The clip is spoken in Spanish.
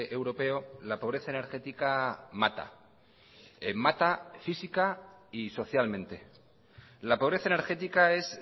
europeo la pobreza energética mata mata física y socialmente la pobreza energética es